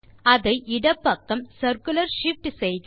அதை இடப்பக்கம் circular shift செய்க